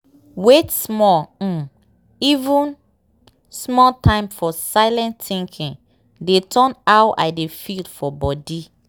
wait small um even small time for silent thinking dey turn how i dey feel for body.